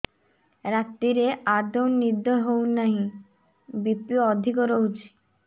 ରାତିରେ ଆଦୌ ନିଦ ହେଉ ନାହିଁ ବି.ପି ଅଧିକ ରହୁଛି